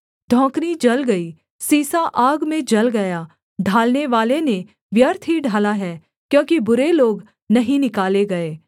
धौंकनी जल गई सीसा आग में जल गया ढालनेवाले ने व्यर्थ ही ढाला है क्योंकि बुरे लोग नहीं निकाले गए